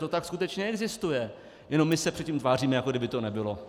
To tak skutečně existuje, jenom my se před tím tváříme, jako kdyby to nebylo.